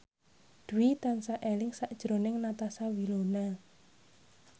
Dwi tansah eling sakjroning Natasha Wilona